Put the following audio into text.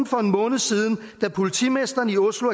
for en måned siden da politimesteren i oslo